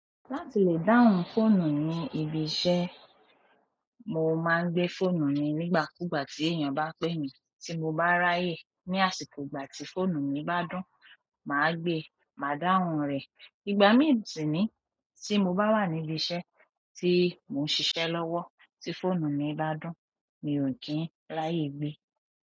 Láti lè dáhùn fóònù ní ibi iṣẹ́, mo máa ń gbé fóònù mi nígbà kú gbà tí èèyàn bá pè mi tí mo bá ráyè. Ní àsìkò ìgbà tí fóònù mi bá dún, màá gbé, màá dáhùn rẹ̀. Ìgbà míì sì niyi tí mo bá wa níbi iṣẹ́, tí mo ń ṣiṣẹ́ lọ́wọ́, ti fóònù mi bá dùn, mi ò kìí ń ráyè gbé.